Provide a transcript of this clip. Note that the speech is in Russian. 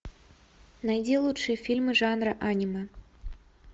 найди лучшие фильмы жанра аниме